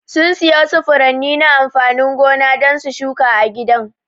Sun siya wasu furanni na amfanin gona don su shuka a gidan.